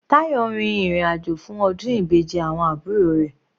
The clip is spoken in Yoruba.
Tayo rin ìrìn àjò fún ọdún Ìbejì awọn àbúrò rẹ̀.